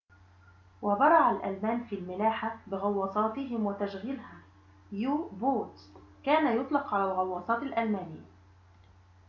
كان يطلق على الغواصات الألمانية u-boats وبرع الألمان في الملاحة بغواصاتهم وتشغيلها